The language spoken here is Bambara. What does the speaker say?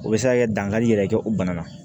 O bɛ se ka kɛ dankari yɛrɛ kɛ o bana na